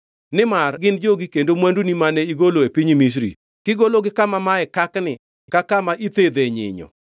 Nimar gin jogi kendo mwanduni mane igolo e piny Misri, kigologi kama mae kakni ka kama ithedhe nyinyo.